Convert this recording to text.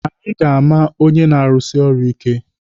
Anyị ga-ama onye na-arusi ọrụ ike.